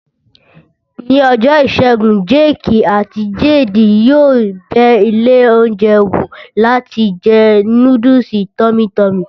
Ní ọjọ́ ìṣẹ́gun, jéèkì àti jeedi yóò bẹ ilé oúnjẹ wò láti jẹ núdùsì tọ́mí tọmì